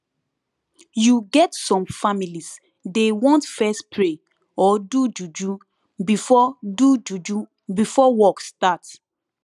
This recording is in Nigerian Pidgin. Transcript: you get some families dey want fess pray or do juju before do juju before work start